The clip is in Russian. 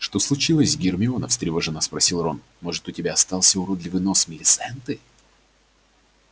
что случилось гермиона встревоженно спросил рон может у тебя остался уродливый нос милисенты